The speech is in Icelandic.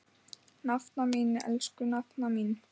Nafna mín, elsku nafna mín.